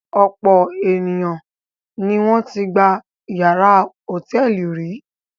Ọ̀pọ̀ àwọn ènìyàn ni wọ́n ti gba ìyàrá hòtẹ́ẹ́lì rí.